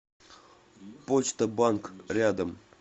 почта банк рядом